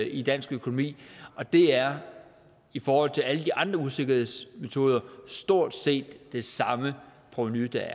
i dansk økonomi og det er i forhold til alle de andre usikkerhedsmetoder stort set det samme provenu der